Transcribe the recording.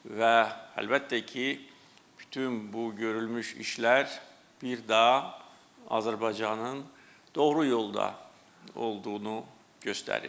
Və əlbəttə ki, bütün bu görülmüş işlər bir daha Azərbaycanın doğru yolda olduğunu göstərir.